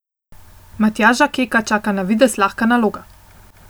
Matjaža Keka čaka na videz lahka naloga.